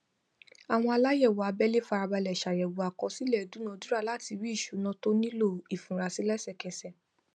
àwọn aláyẹwò abẹlé farabalẹ ṣàyèwò àkọsílẹ ìdúnadúrà láti rí ìṣúná tó nílò ìfura sí lẹsẹkẹsẹ